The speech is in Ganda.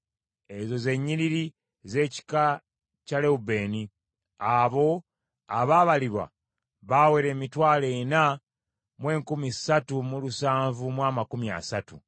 Ezo ze nnyiriri z’ekika kya Lewubeeni. Abo abaabalibwa baawera emitwalo ena mu enkumi ssatu mu lusanvu mu amakumi asatu (43,730).